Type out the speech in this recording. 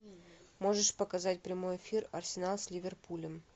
можешь показать прямой эфир арсенал с ливерпулем